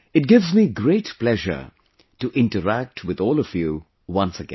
It gives me great pleasure to interact with all of you once again